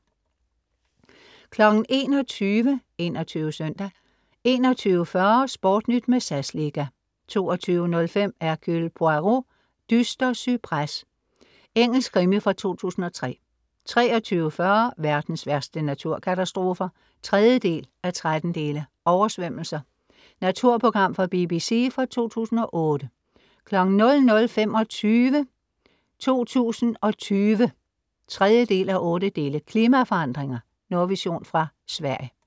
21:00 21 SØNDAG 21:40 SportNyt med SAS liga 22:05 Hercule Poirot: Dyster cypres. Engelsk krimi fra 2003 23:40 Verdens værste naturkatastrofer (3:13) "Oversvømmelser" Naturprogram fra BBC fra 2008 00:25 2020 (3:8) Klimaforandringer. Nordvision fra Sverige